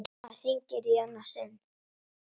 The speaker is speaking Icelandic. Mamma hringir í annað sinn.